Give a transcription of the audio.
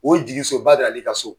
O ye jigiso Badara Ali ka so.